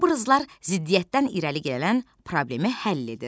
Obrazlar ziddiyyətdən irəli gələn problemi həll edir.